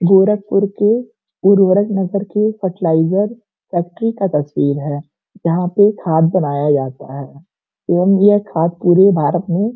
गोरखपुर के उर्वरक नगर के फ़र्टिलाइज़र फैक्ट्री का तस्वीर है। जहाँ पे खाद बनाया जाता है एवम यह खाद पूरे भारत में --